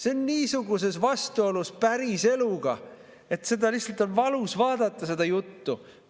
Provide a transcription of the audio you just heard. See on niisuguses vastuolus päris eluga, et lihtsalt on valus seda juttu.